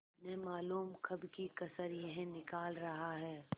न मालूम कब की कसर यह निकाल रहा है